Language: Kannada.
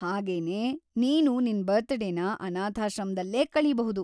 ಹಾಗೆನೇ, ನೀನು ನಿನ್ ಬರ್ತಡೇನ ಅನಾಥಾಶ್ರಮ್ದಲ್ಲೇ ಕಳೀಬಹುದು.